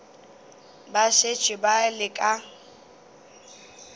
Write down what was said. ba šetše ba le ka